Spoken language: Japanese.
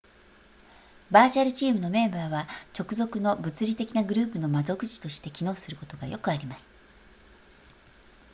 バーチャルチームのメンバーは直属の物理的なグループの窓口として機能することがよくあります